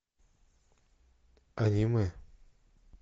аниме